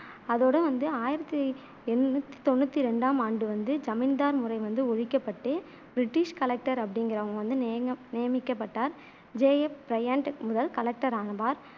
அதோட வந்து ஆயிரத்தி எண்ணூத்தி தொண்ணூத்தி ரெண்டாம் ஆண்டு வந்து ஜமீன்தார் முறை ஒழிக்கப்பட்டு british collector அப்படிங்குறவங்க வந்து நிய நியமிக்கப்பட்டார். ஜே எப் பிரையன்ட் முதல் கலெக்டர் ஆவார்.